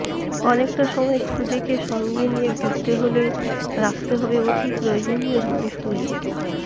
অনেকটা সময় খুদেকে সঙ্গে নিয়ে ঘুরতে হলে রাখতে হবে অতি প্রয়োজনীয় জিনিসগুলি